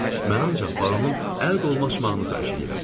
Mən ancaq baronun əl qolu açmağını xahiş eləyirəm.